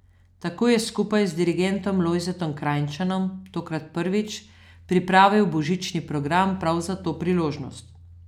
Tako je skupaj z dirigentom Lojzetom Krajnčanom tokrat prvič pripravil božični program prav za to priložnost.